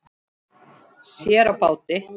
Sér á báti.